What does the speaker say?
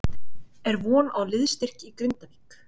Er von á liðsstyrk í Grindavík?